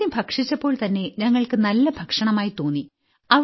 ആദ്യം ഭക്ഷിച്ചപ്പോൾതന്നെ ഞങ്ങൾക്ക് നല്ല ഭക്ഷണമായി തോന്നി